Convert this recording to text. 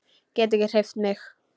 Get ekki hreyft mig.